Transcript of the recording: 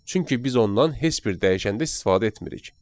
Çünki biz ondan heç bir dəyişəndə istifadə etmirik.